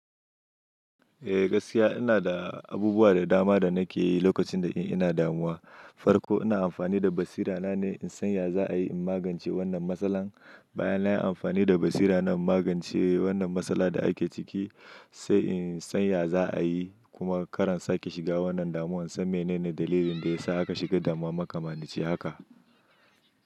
Eh gaskiya ina da abubuwa da dama da nake yi lokacin da ina damuwa. Farko ina amfani da basira na ne in san ya za a yi in magance wannan matsalar. Bayan na yi amfani da basira na in magance wannan matsalar da ake ciki, sai in san ya za a yi kuma kar in sake shiga wannan damuwan, in san menene dalilin da ya sa aka shiga damuwa makamanice haka.